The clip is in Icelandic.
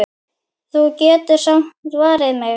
Þú getur samt varið mig.